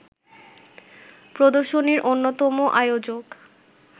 প্রদর্শনীর অন্যতম আয়োজক